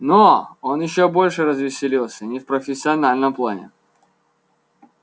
но он ещё больше развеселился не в профессиональном плане